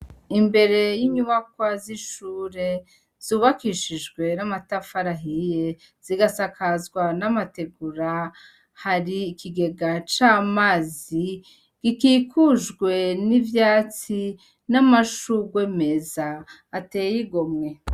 Imbere y'inyubakwa z'ishure, zubakishijwe n'amatafari ahiye, zigasakazwa n'amategura. Hari ikigega c'amazi gikikujwe n'ivyatsi n'amashugwe meza ateye igomwe.